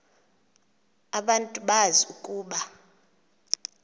abantu bazi ukuba